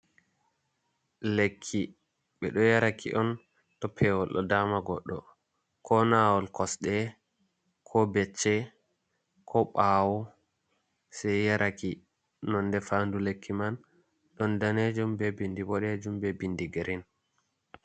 Lekki ɓeɗo yaraki on to pewol ɗo dama goddo, ko nawol kosɗe, ko becce, ko ɓawo sai yaraki nonde faadu lekki man don danejum, be bindi bodejum, be bindi girin.